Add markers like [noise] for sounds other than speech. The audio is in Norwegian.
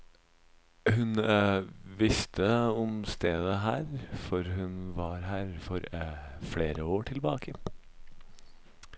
Hun [hesitation] visste om stedet her, for hun var her for [hesitation] flere år tilbake.